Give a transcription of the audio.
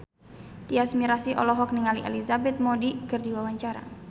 Tyas Mirasih olohok ningali Elizabeth Moody keur diwawancara